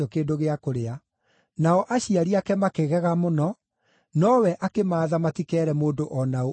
Nao aciari ake makĩgega mũno, nowe akĩmaatha matikeere mũndũ o na ũ ũndũ ũcio wekĩkĩte.